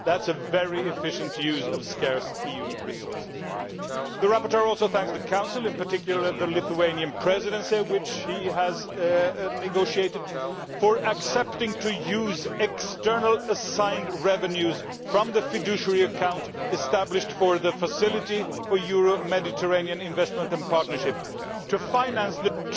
That is a very efficient use of scarce EU resources. The rapporteur also thanks the Council in particular the Lithuanian Presidency, with which he has negotiated for accepting to use external assigned revenues from the fiduciary account established for the Facility for Euro Mediterranean Investment and Partnership, to finance the